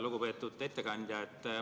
Lugupeetud ettekandja!